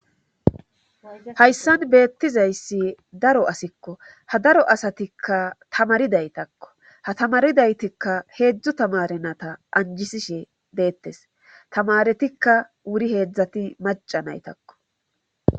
hayssan beettizayssi daro asikko ha daro asatikka tamaridaytakko ha tamaridaytikka heedzdzu tamarenata anjisishe deettes tamaretikka wuri heedzdzati maca naytakko